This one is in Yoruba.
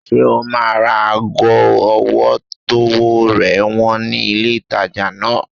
Ṣé o máa ra ago ọwọ́ tówó rẹ̀ wọ́n ní ilé ìtajà náà?